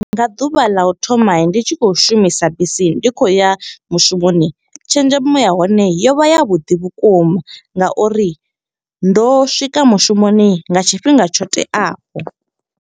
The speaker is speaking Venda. Nga ḓuvha ḽa u thoma ndi tshi khou shumisa bisi, ndi khou ya mushumoni. Tshenzhemo ya hone yo vha ya vhuḓi vhukuma nga uri ndo swika mushumoni nga tshifhinga tsho teaho.